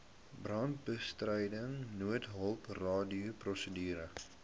brandbestryding noodhulp radioprosedure